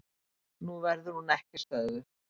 Nú verður hún ekki stöðvuð.